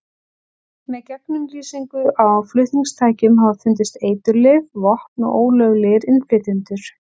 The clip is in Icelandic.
Með gegnumlýsingu á flutningatækjum hafa fundist eiturlyf, vopn og ólöglegir innflytjendur.